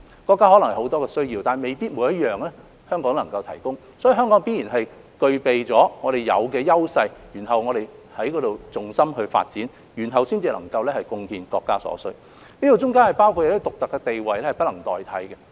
國家可能有很多需要，但未必每一項香港都能夠提供。因此，香港必然在具備自身優勢的方面作重心發展，然後才能夠貢獻國家所需，當中包括一些獨特地位是不能代替的。